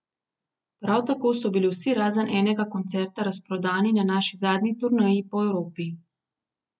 Prav tako so bili vsi razen enega koncerta razprodani na naši zadnji turneji po Evropi.